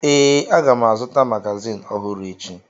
Ee, aga m azụta magazịn ọhụrụ echi.